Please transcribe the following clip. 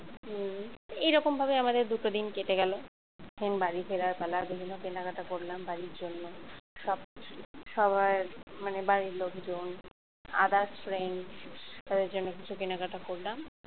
এরকম ভাবে আমাদের দুটো দিন কেটে গেল then বাড়ি ফেরার পালা বিভিন্ন কেনাকাটা করলাম বাড়ির জন্য সব সবাই মানে বাড়ির লোকজন others friend ওদের জন্য কিছু কেনাকাটা করলাম